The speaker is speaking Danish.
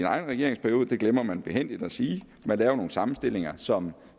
egen regeringsperiode det glemmer man behændigt at sige man laver nogle sammenstillinger som